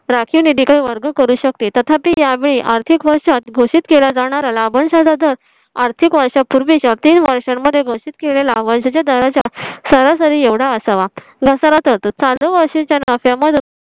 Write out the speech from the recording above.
राखीव निधी कडे वर्ग करू शकते. तथापि त्यावेळी आर्थिक वर्षात घोषित केला जाणारा लाभांश चा आर्थिक वर्षापूर्वी च्या तीन वर्षांमध्ये घोषित केले लाभांशच्या दरा चा सरासरी एवढा असावा चालू वर्षी च्या नफ्या मध्ये